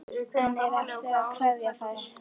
En er erfitt að kveðja þær?